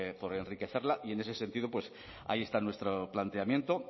por enriquecerla y en ese sentido pues ahí está nuestro planteamiento